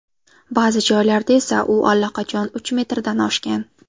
Ba’zi joylarda esa u allaqachon uch metrdan oshgan.